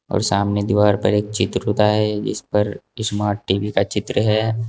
और सामने दीवार पर एक चित्र खुदा है जिस पर स्मार्ट टी_वी का चित्र है।